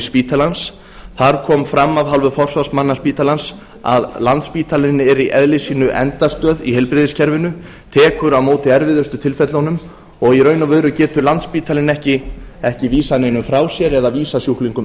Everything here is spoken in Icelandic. spítalans þar kom fram af hálfu forsvarsmanna spítalans að landspítalinn er í eðli sínu endastöð í heilbrigðiskerfinu tekur á móti erfiðustu tilfellunum og í raun og veru getur landspítalinn ekki vísað neinum frá sér eða vísað sjúklingum